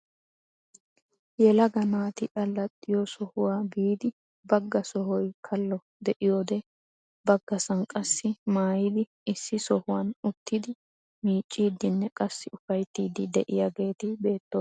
Yelaga naati allaxxiyoo sohuwaa biidi bagga sohoy kallo de'iyoode baggasan qassi maayidi issi sohuwaan uttidi miicciidinne qassi ufayttiidi de'iyaageti beettoosona.